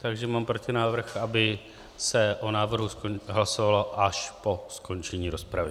Takže mám protinávrh, aby se o návrhu hlasovalo až po skončení rozpravy.